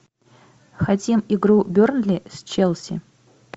хотим игру бернли с челси